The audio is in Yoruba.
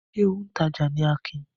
Ṣé òǹtajà ni Akin?